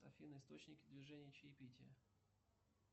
афина источники движения чаепития